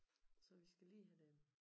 Så vi skal lige have dem